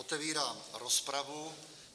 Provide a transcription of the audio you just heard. Otevírám rozpravu.